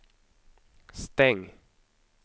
stäng